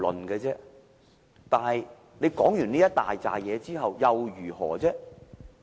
然而，說完這堆話之後又如何呢？